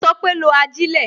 Ó sọ pé "lo ajilẹ"